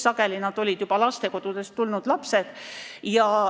Sageli olid nad lastekodulapsed.